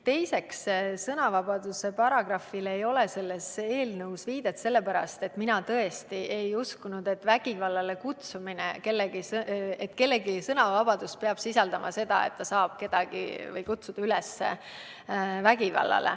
Teiseks, sõnavabaduse paragrahvile ei ole selles eelnõus viidet sellepärast, et mina tõesti ei uskunud, et kellegi sõnavabadus peab sisaldama seda, et ta saab kedagi kutsuda üles vägivallale.